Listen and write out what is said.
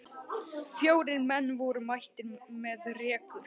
Fjórir menn voru mættir með rekur.